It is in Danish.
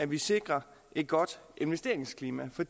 vi sikrer et godt investeringsklima for